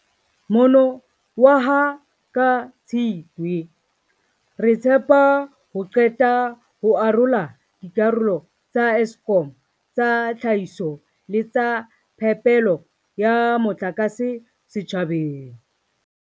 Mono waha ka Tshitwe, re tshepa ho qeta ho arola dikarolo tsa Eskom tsa tlhahiso le tsa phepelo ya motlakase setjhabeng.